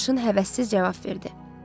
Sarışın həvəssiz cavab verdi.